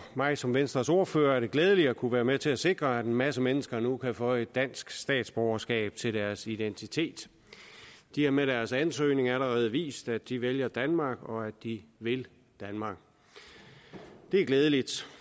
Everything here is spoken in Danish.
mig som venstres ordfører er det glædeligt at kunne være med til at sikre at en masse mennesker nu kan føje et dansk statsborgerskab til deres identitet de har med deres ansøgning allerede vist at de vælger danmark og at de vil danmark det er glædeligt